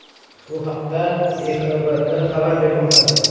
Bu haqda IXBT xabar bermoqda.